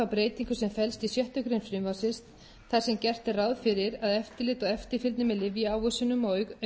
frumvarpsins þar sem gert er ráð fyrir að eftirlit og eftirfylgni með lyfjaávísunum og aukaverkunum